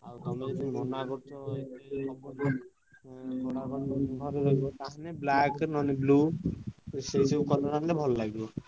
ଆଉ ତମେ ଯଦି ମନା କରୁଛ ହବନି ନହେଲେ ତାହେଲେ black ନହେଲେ blue ସେଇସବୁ colour ଆଣିଲେ ଭଲ ଲାଗିବ।